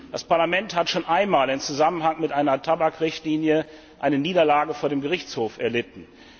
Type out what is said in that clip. Das Parlament hat schon einmal im Zusammenhang mit einer Tabakrichtlinie eine Niederlage vor dem Gerichtshof erlitten.